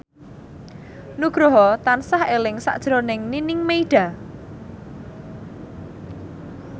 Nugroho tansah eling sakjroning Nining Meida